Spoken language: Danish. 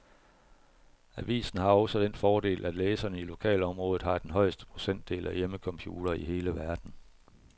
Avisen har også den fordel, at læserne i lokalområdet har den højeste procentdel af hjemmecomputere i hele verden.